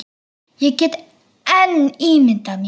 Ég get enn ímyndað mér!